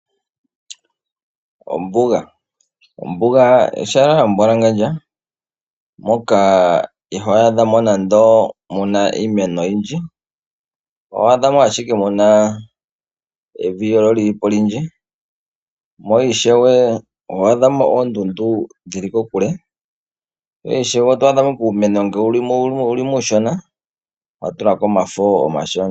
Ombuga ehala lyambwalangandja moka ito adhamo iimeno oyindji. Otwaadha mo ashike evi olyo lyilimo olindji noshowo oondundu dhili kokule, nuumeno wulimo uushona watulako omafo omashona.